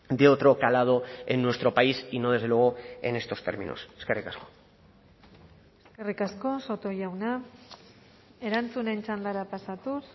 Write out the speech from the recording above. de otro calado en nuestro país y no desde luego en estos términos eskerrik asko eskerrik asko soto jauna erantzunen txandara pasatuz